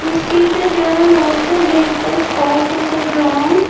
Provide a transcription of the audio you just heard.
we see that they are lots of vehicles parked on the ground.